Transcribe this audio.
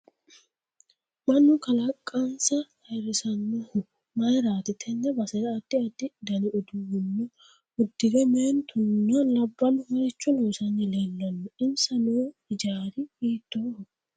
Mannu kaaliqansa ayiirisanohu mayiirati tene basera addi addi dani uddanno uddire meentunna labballu maricho loosanni leelanno insa noo hijaari hiitooho